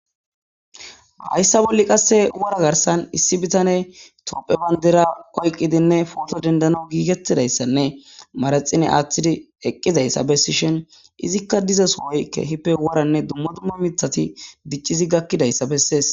Hayssa bolli qassi wora garssan issi bitane tophe banidira oyiqidi poto denidanwu gigetida issane manaxire atida eqqida issa beesishinika diza sohoyi keehippe woranne dumma dumma mithati dichidi gakida iza beeses.